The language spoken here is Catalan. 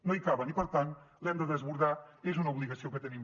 no hi caben i per tant l’hem de desbordar és una obligació que tenim